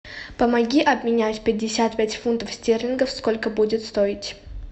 помоги обменять пятьдесят пять фунтов стерлингов сколько будет стоить